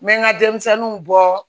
N bɛ n ka denmisɛnninw bɔ